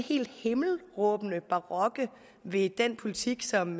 helt himmelråbende barokke ved den politik som